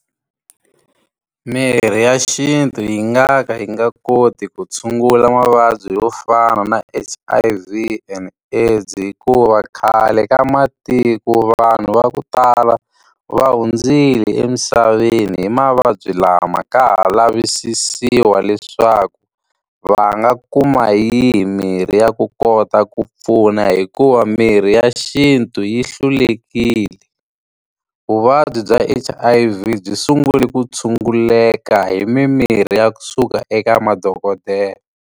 Mirhi ya xintu yi nga ka yi nga koti ku tshungula mavabyi yo fana na H_I_V and AIDS hikuva khale ka matiko vanhu va ku tala, va hundzile emisaveni hi mavabyi lama ka ha lavisisiwa leswaku va nga kuma hi yihi mirhi ya ku kota ku pfuna hi ku wa mirhi ya xintu yi hlulekile. Vuvabyi bya H_I_V byi sungule ku tshunguleka hi mimirhi ya kusuka eka madokodela.